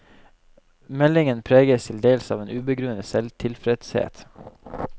Meldingen preges til dels av en ubegrunnet selvtilfredshet.